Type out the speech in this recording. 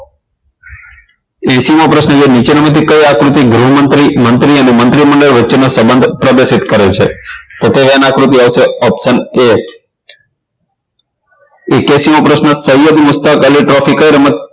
એંશી મો પ્રશ્ન નીચેનામાંથી કઈ આકૃતિ ગૃહમંત્રી મંત્રી અને મંત્રીમંડળ વચ્ચેનો સંબંધ પ્રદર્શિત કરે છે તો તે વેન આકૃતિ આવશે option a એક્યાશી મો પ્રશ્ન સૈયદ મુસ્તક અલી trophy કઈ રમત